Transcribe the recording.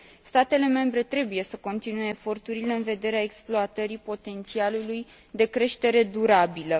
Statele membre trebuie să continue eforturile în vederea exploatării potențialului de creștere durabilă.